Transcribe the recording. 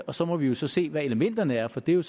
og så må vi så se hvad elementerne er for det er